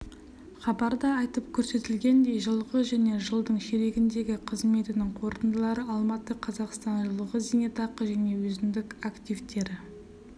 хабарда айтып көрсетілгендей жылғы және жылдың ширегіндегі қызметінің қорытындылары алматы қазақстан жылғы зейнетақы және өзіндік активтері